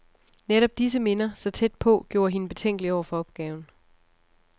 Netop disse minder, så tæt på, gjorde hende betænkelig over for opgaven.